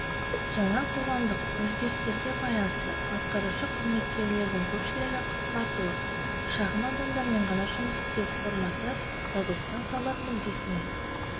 жаңа қоғамдық өзгерістерге байланысты атқарушы қызметкерлердің көпшілігі қысқартылып шағын адамдармен ғана жұмыс істеу форматты радиостанциялар мүддесіне